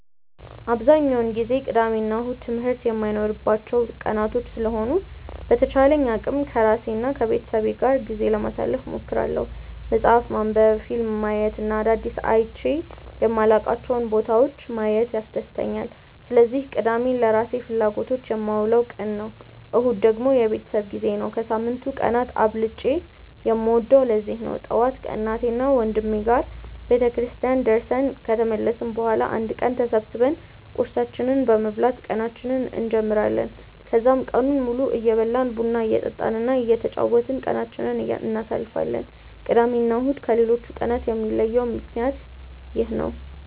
አብዛኛውን ጊዜ ቅዳሜ እና እሁድ ትምህርት የማይኖርባቸው ቀናቶች ስለሆኑ በተቻለኝ አቅም ከራሴ እና ከቤተሰቤ ጋር ጊዜ ለማሳለፍ እሞክራለሁ። መፅሀፍ ማንበብ፣ ፊልም ማየት እና አዳዲስ አይቼ የማላውቃቸውን ቦታዎች ማየት ያስደስተኛል። ስለዚህ ቅዳሜን ለራሴ ፍላጎቶች የማውለው ቀን ነው። እሁድ ደግሞ የቤተሰብ ጊዜ ነው። ከሳምንቱ ቀናት አብልጬ የምወደውም ለዚህ ነው። ጠዋት ከእናቴና ወንድሜ ጋር ቤተክርስቲያን ደርሰን ከተመለስን በኋላ አንድ ላይ ተሰብስበን ቁርሳችንን በመብላት ቀናችንን እንጀምራለን። ከዛም ቀኑን ሙሉ እየበላን፣ ቡና እየጠጣን እና እየተጫወትን ቀናችንን እናሳልፋለን። ቅዳሜ እና እሁድን ከሌሎቹ ቀናቶች የሚለያቸው ምክንያት ይህ ነው።